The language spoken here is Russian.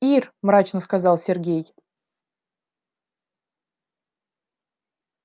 ир мрачно сказал сергей